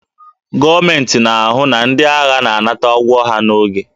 Gọọmentị na-ahụ na ndị agha na-anata ụgwọ ha n'oge